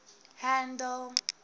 handle